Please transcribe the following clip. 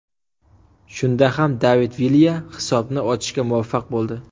Shunda ham David Vilya hisobni ochishga muvaffaq bo‘ldi.